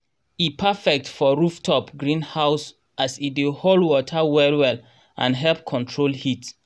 e perfect for rooftop greenhouse as e dey hold water well well and help control heat.